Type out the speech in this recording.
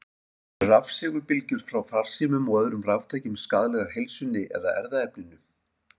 Eru rafsegulbylgjur frá farsímum og öðrum raftækjum skaðlegar heilsunni eða erfðaefninu?